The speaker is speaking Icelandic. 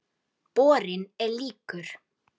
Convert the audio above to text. Borinn er líkur